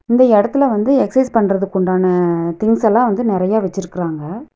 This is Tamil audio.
இந்த எடத்துல வந்து எக்ஸைஸ் பண்றதுக்கு உண்டான திங்ஸ் எல்லா வந்து நெறையா வச்சிருக்காங்க.